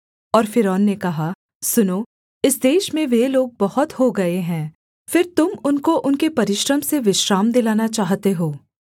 और फ़िरौन ने कहा सुनो इस देश में वे लोग बहुत हो गए हैं फिर तुम उनको उनके परिश्रम से विश्राम दिलाना चाहते हो